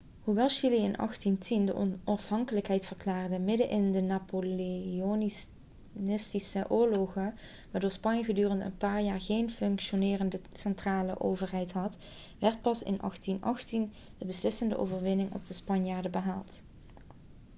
hoewel chili in 1810 de onafhankelijkheid verklaarde middenin de napoleontische oorlogen waardoor spanje gedurende een paar jaar geen functionerende centrale overheid had werd pas in 1818 de beslissende overwinning op de spanjaarden behaald